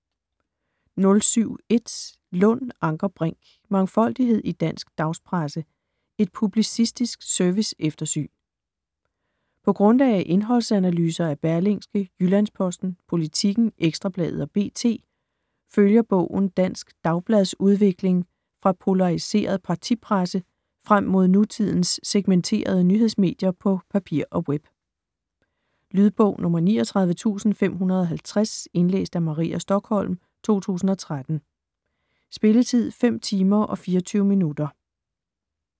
07.1 Lund, Anker Brink: Mangfoldighed i dansk dagspresse: et publicistisk serviceeftersyn På grundlag af indholdsanalyser af Berlingske, Jyllands-Posten, Politiken, Ekstrabladet og BT følger bogen dansk dagbladsudvikling fra polariseret partipresse frem mod nutidens segmenterede nyhedsmedier på papir og web. Lydbog 39550 Indlæst af Maria Stokholm, 2013. Spilletid: 5 timer, 24 minutter.